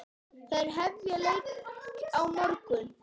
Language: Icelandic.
Þær hefja leik á morgun.